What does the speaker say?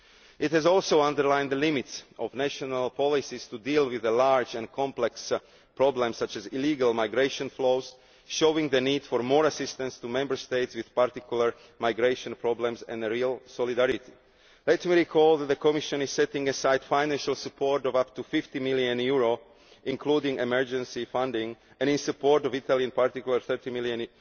It has also underlined the limits of national policies to deal with a large and complex problem such as illegal migration flows, showing the need for more assistance to Member States with particular migration problems and real solidarity. Let me recall that the Commission is setting aside financial support of up to EUR 50 million including emergency funding, and in support of Italy in particular EUR 30 million